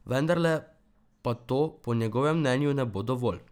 Vendarle pa to po njegovem mnenju ne bo dovolj.